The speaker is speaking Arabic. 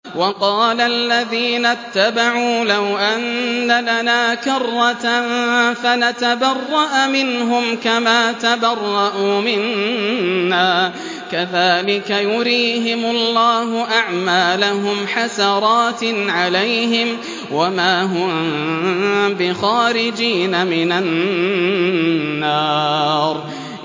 وَقَالَ الَّذِينَ اتَّبَعُوا لَوْ أَنَّ لَنَا كَرَّةً فَنَتَبَرَّأَ مِنْهُمْ كَمَا تَبَرَّءُوا مِنَّا ۗ كَذَٰلِكَ يُرِيهِمُ اللَّهُ أَعْمَالَهُمْ حَسَرَاتٍ عَلَيْهِمْ ۖ وَمَا هُم بِخَارِجِينَ مِنَ النَّارِ